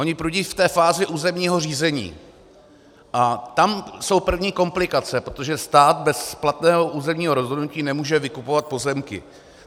Oni prudí v té fázi územního řízení a tam jsou první komplikace, protože stát bez platného územního rozhodnutí nemůže vykupovat pozemky.